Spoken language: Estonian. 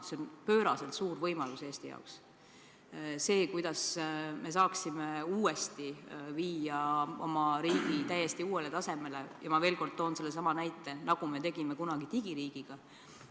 See on Eestile pööraselt suur võimalus, millega me saaksime uuesti viia oma riigi täiesti uuele tasemele, nii nagu tegime kunagi digiiriigiga.